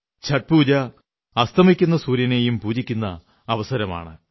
ഛഠ് പൂജ അസ്തമിക്കുന്ന സൂര്യനെയും പൂജിക്കുന്ന അവസരമാണ്